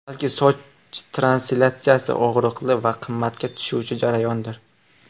Balki, soch transplantatsiyasi og‘riqli va qimmatga tushuvchi jarayondir?